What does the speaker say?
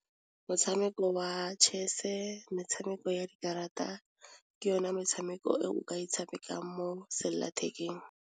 Motshameko wa chess-e metshameko ya dikarata ke yone metshameko e o ka e tshamekang mo selelathekeng.